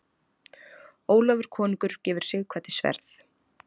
Ólafur konungur gefur Sighvati sverð.